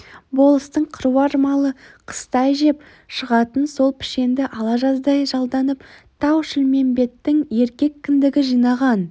болыстың қыруар малы қыстай жеп шығатын сол пішенді ала жаздай жалданып тау-шілмембеттің еркек кіндігі жинаған